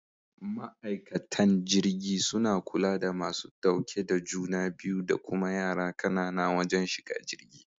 Ma'aikatan jirgi suna kula da masu dauke da juna biyu da kuma yara kanana wajen shiga jirgi.